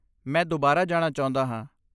ਮੈਂ ਦੁਬਾਰਾ ਜਾਣਾ ਚਾਹੁੰਦਾ ਹਾਂ।